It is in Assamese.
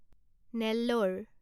নেল্ল'ৰ